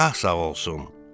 Şah sağ olsun!